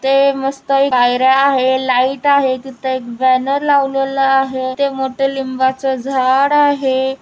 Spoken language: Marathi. तिथे मस्त पायर्‍या आहे लाइट आहे तिथे एक बॅनर लावलेला आहे तिथे मोठ लिंबाचे झाड आहे.